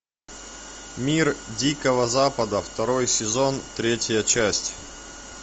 мир дикого запада второй сезон третья часть